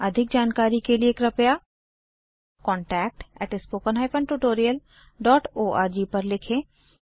अधिक जानकारी के लिए कृपया contactspoken tutorialorg पर लिखें